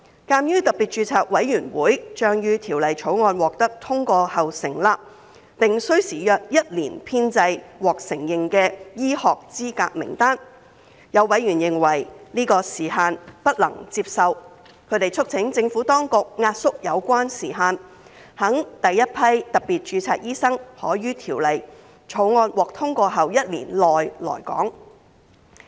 鑒於特別註冊委員會將於《條例草案》獲得通過後成立，並需時約一年編製獲承認的醫學資格名單，有委員認為這樣的時限不能接受，他們促請政府當局壓縮有關時限，使第一批特別註冊醫生可於《條例草案》獲通過後一年內來港。